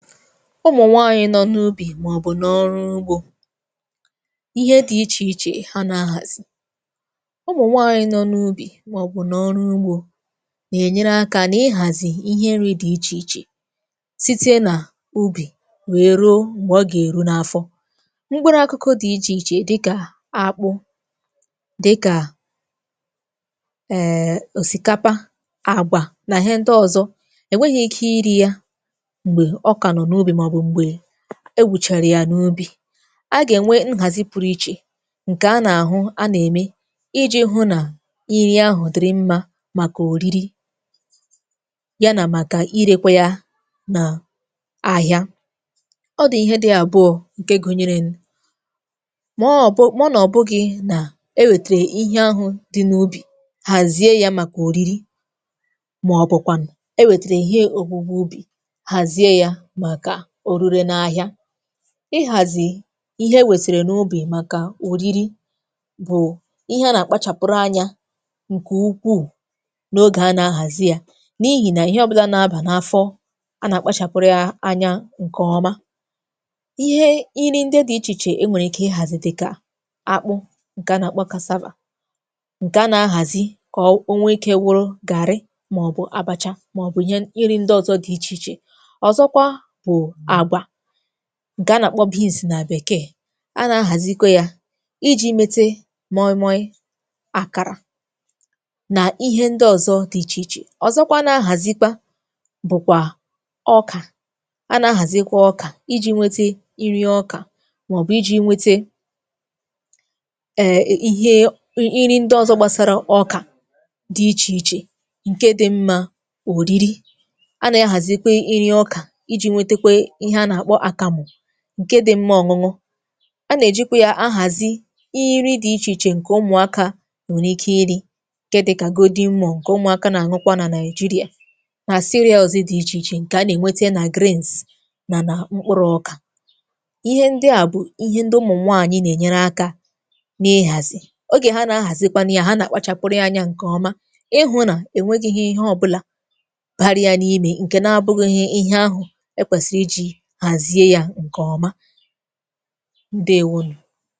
Ụmụ̀nwaànyị̀ nọ n’ubì màọbụ̀ n’ọrụ ugbȯ, ihe dị ichè ichè ha na-ahàzi. Ụmụ̀nwaànyị̀ nọ n’ubì, màọbụ̀ n’ọrụ ugbȯ na-ènyere akȧ nà ịhàzì ihe nri dị ichè ichè, site nà ubì wee ruo m̀gbè ọ gà-èru n’afọ. Mkpụrụ akụkụ dị ichè ichè dịkà akpụ, dịkà èè osikapa, àgwà nà ihe ndị ọ̀zọ, ènweghi̇ ike iri ya mgbe ọ ka nọ n'ubi, maọbu mgbe ewuchara ya n’ubi, a ga-enwe nhazi pụrụ iche nke a na-ahụ a na-eme iji hụ na iri ahụ dịrị mma maka oriri, ya na maka irekwa ya na ahịa. Ọ dị ihe dị abụọ nke gụnyere nụ. mọọ ọbu, mọọ na ọ bụ gị na ewetere ihe ahụ dị n’ubi hazie ya maka oriri, maọbụ kwanụ ewetere ihe ogwugwu ubi, hazie ya maka orire na ahia. Ịhàzì ihe e wèsèrè n’ubì màkà òriri bụ̀ ihe a nà-àkpachàpụrụ anyȧ ǹkè ukwuù n’ogè a nà-ahàzi ya, n’ihì nà ihe ọbụlà na-abà n’afọ, a nà-àkpachàpụrụ ya anya ǹkè ọma. Ihe iri ndị dị ichè ichè e nwèrè ike ịhàzì dịkà, akpụ ǹkè a nà-àkpọ ǹkè a nà-ahàzi kà onwe ike wụrụ garị, màọbụ̀ abacha, màọbụ̀ ihe ihe iri ndị ọzọ dị̀ ichè ichè. Ọzọkwa, bu àgwà, nke a na-àkpọ nà bèkee, a na-ahàzikwa yȧ ijì metė moi mọ̀ì, àkàrà nà ihe ndị ọ̀zọ dị̇ ichè ichè, ọ̀zọkwa na-ahàzikwa bụ̀kwà ọkà, a na-ahàzikwa ọkà ijì nwete iri ọkà, màọ̀bụ̀ ijì nwete èe ihe iri ndị ọ̀zọ gbasara ọkà dị ichè ichè ǹke dị̇ mmȧ òriri, a nà-ahàzikwe iri ọkà iji nwetekwe ihe a na-akpọ akamụ ǹke di̇ mmȧ ọ̀ṅụṅụ. A nà-èjikwa yȧ ahàzi iri̇ dị̇ ichè ichè ǹkè ụmụ̀akȧ nwèrè ike iri, ǹke dịkà ǹke ụmụ̀akȧ nà-àṅụkwa nà nàị̀jirià nà dị̇ ichè ichè ǹkè a nà-ènwetie nà nà nà mkpụrụ ọkà. Ihe ndị à bụ̀ ihe ndị ụmụ̀ nwaànyị nà-ènyere akȧ n’ihàzì. Ogè ha nà-ahàzikwa nia, ha nà-àkpachàpụrụ ya anyȧ ǹkè ọma ịhụ̇ nà ènwegi̇ghi̇ ihe ọbụlà baria n'ime, nke na abụghị ihe ihahụ ekwesị iji hazie ya nke ọma. Ndewonù.